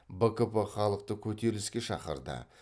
бкп халықты көтеріліске шақырды